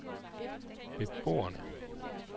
beboerne